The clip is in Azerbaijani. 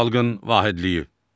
Xalqın vahidliyi.